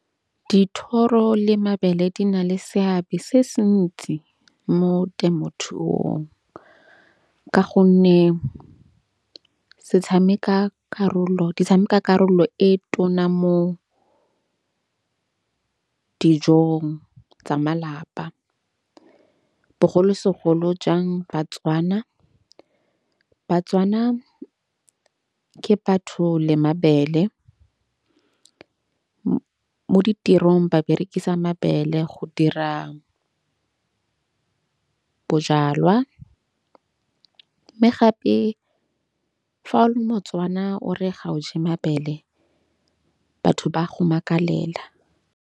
Dithoro le mabele di na le seabe se se ntsi mo temothuong. Ka gonne se tshameka karolo, di tshameka karolo e tona mo dijong tsa malapa. Bogolosegolo jang ba-Tswana. Ba-Tswana ke batho le mabele mo ditirong ba berekisa mabele go dira bojalwa. Mme gape fa o le mo-Tswana o re ga o je mabele, batho ba go makalela.